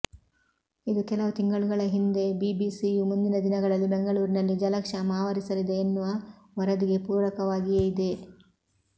ಇದು ಕೆಲವು ತಿಂಗಳುಗಳ ಹಿಂದೆ ಬಿಬಿಸಿಯು ಮುಂದಿನ ದಿನಗಳಲ್ಲಿ ಬೆಂಗಳೂರಿನಲ್ಲಿ ಜಲಕ್ಷಾಮ ಆವರಿಸಲಿದೆ ಎನ್ನುವ ವರದಿಗೆ ಪೂರಕವಾಗಿಯೇ ಇದೆ